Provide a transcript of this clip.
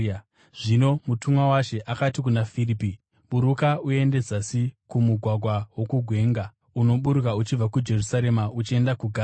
Zvino mutumwa waShe akati kuna Firipi, “Buruka uende zasi kumugwagwa, wokugwenga, unoburuka uchibva kuJerusarema uchienda kuGaza.”